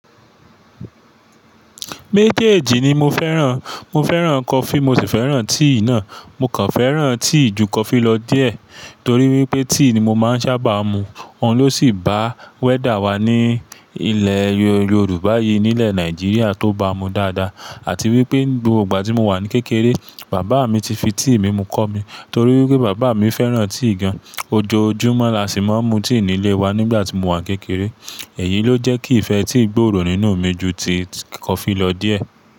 Méjèèjì ni mo fẹ́ràn. Mo fẹ́ràn coffee, mo sì fẹ́ràn tea náà. Mo kàn fẹ́ràn tea ju coffee lọ díẹ̀ torí wípé tea ni mo máa ń sábà mu. Òun ló sì bá weather wa ní ilẹ̀ Yorùbá yìí nílẹ̀ Nigeria tó bá mu dáadáa àti wípé ni gbogbo igba tí mo wà ní kékeré, bàbá mi ti fi tea mímu kọ́ mi torí wípé bàbá mi fẹ́ràn tea gan. Ojoojúmọ́ la sí máa ń mu tea nílé wa nígbà tí mo wà ní kékeré. Èyí ló jẹ́ kí ìfẹ́ tea gbòòrò nínú mi ju ti coffee lọ díẹ̀.